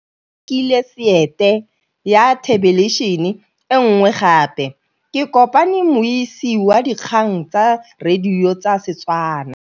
Rre o rekile sete ya thêlêbišênê e nngwe gape. Ke kopane mmuisi w dikgang tsa radio tsa Setswana.